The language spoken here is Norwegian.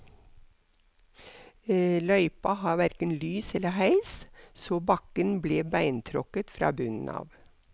Løypa hadde hverken lys eller heis, så bakken ble beintråkket fra bunnen av.